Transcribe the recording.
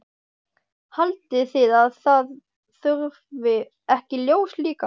Haldið þið að það þurfi ekki ljós líka?